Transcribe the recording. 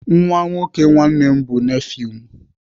Nwa nwoke nwanne m bụ nefiu m.